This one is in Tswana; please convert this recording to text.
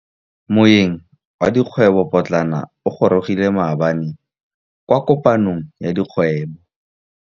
Moêng wa dikgwêbô pôtlana o gorogile maabane kwa kopanong ya dikgwêbô.